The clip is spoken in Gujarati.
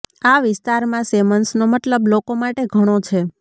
આ વિસ્તારમાં શેમન્સનો મતલબ લોકો માટે ઘણો છે